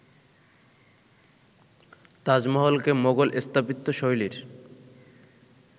তাজমহলকে Mughal স্থাপত্যশৈলীর